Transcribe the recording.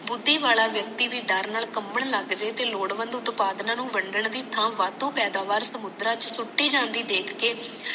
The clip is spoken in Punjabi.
ਬੁਧੀ ਵਾਲਾ ਵਿਅਕਤੀ ਭੀ ਡਰ ਨਾਲ ਕਮਬਨ ਲੱਗਜੇ ਤੇ ਲੋੜ ਬੰਧੁ ਤਪਾਦਨਾ ਨੂੰ ਵੰਡਣ ਦੀ ਥਾਂ ਵੱਧੋ ਪੈਦਾਵਾਰ ਸਮੁੰਦਰਾਂ ਚ ਸੁਟੀ ਜਾਂਦੀ ਦੇਖ ਕੇ